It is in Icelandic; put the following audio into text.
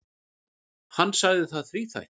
Hann sagði það þríþætt.